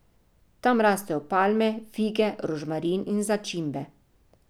Tam rastejo palme, fige, rožmarin in začimbe.